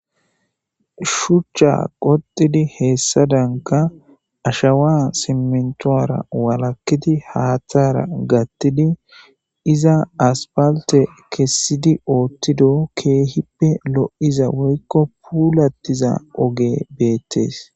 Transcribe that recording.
shuchcha qotidi heessadanka ashawa simentoara walakkidi haaththara gattidi iza aspalte kessidi oottido keehippe lo7iza woykko puulattiza oge beettees